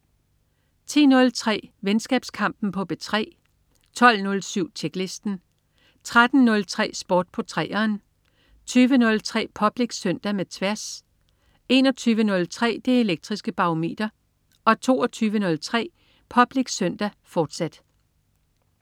10.03 Venskabskampen på P3 12.07 Tjeklisten 13.03 Sport på 3'eren 20.03 Public Søndag med Tværs 21.03 Det Elektriske Barometer 22.03 Public Søndag, fortsat